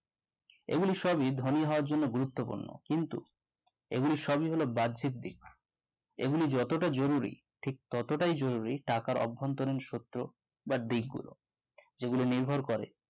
এইগুলো সবই ধনী হবার জন্য গুরুত্ব পূর্ণ কিন্তু এইগুলো সবই হলো বার্জিকদিক এগুলি যতটা জরুরি ঠিক ততটাই জরুরি টাকার অভ্যন্তরীন সত্য বা দিক গুলো যেগুলো নির্ভর করে